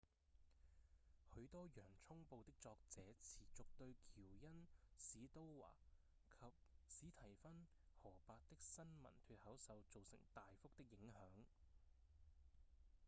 許多《洋蔥報》的作者持續對喬恩・史都華及史蒂芬・荷伯的新聞脫口秀造成大幅的影響